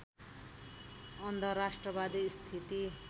अन्धराष्ट्रवादी स्थिति